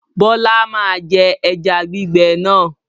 Bọlá máa je ẹja gbígbẹ náà.